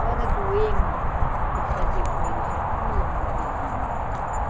A hora do, eu fazia com eles o Pula Novelinho.